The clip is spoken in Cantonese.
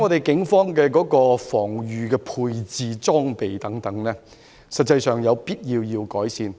警方現時的防禦裝備，有必要改善。